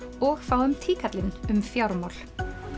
og fáum um fjármál